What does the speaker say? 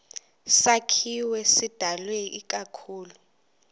sakhiwo sidalwe ikakhulu